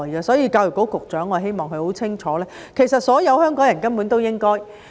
所以，我希望教育局局長很清楚，所有香港人根本都應該表示尊重。